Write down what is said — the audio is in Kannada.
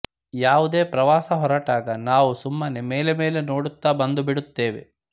ಯಾವುದೇ ಪ್ರವಾಸ ಹೊರಟಾಗ ನಾವು ಸುಮ್ಮನೆ ಮೇಲೆ ಮೇಲೆ ನೋಡುತ್ತಾ ಬಂದುಬಿಡುತ್ತೇವೆ